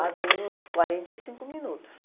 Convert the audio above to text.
Há bem uns quarenta e cinco minutos.